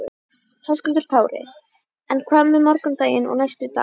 Höskuldur Kári: En hvað með morgundaginn og næstu daga?